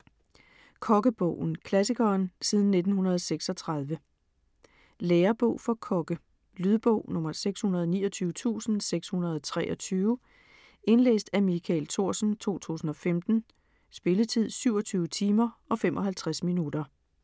Kokkebogen: klassikeren siden 1936 Lærebog for kokke. Lydbog 629623 Indlæst af Michael Thorsen, 2015. Spilletid: 27 timer, 55 minutter.